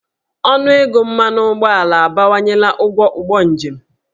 Ọnụego mmanụ ụgbọala abawanyela ụgwọ ụgbọ njem.